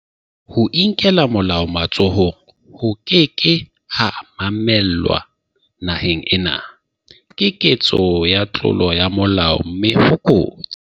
Ho inkela molao matsohong ho ke ke ha mamellwa naheng ena, Ke ketso ya tlolo ya molao mme ho kotsi.